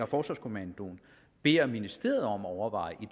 forsvarskommandoen beder ministeriet om at overveje i